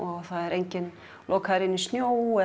enginn lokaður inn í snjó